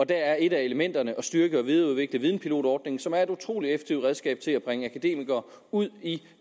der er et af elementerne at styrke og videreudvikle videnpilotordningen som er et utrolig effektivt redskab til at bringe akademikere ud i